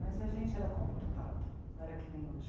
Mas a gente era comportado, não era que nem hoje.